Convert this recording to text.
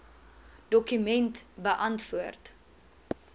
dokument beantwoord